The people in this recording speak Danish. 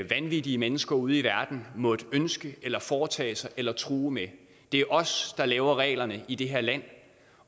vanvittige mennesker ude i verden måtte ønske eller foretage sig eller true med det er os der laver reglerne i det her land